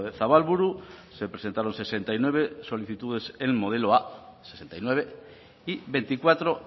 zabalburu se presentaron sesenta y nueve solicitudes en modelo a sesenta y nueve y veinticuatro